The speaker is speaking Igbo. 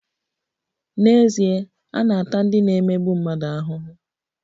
N'ezie, a na-ata ndị na-emegbu mmadụ ahụhụ.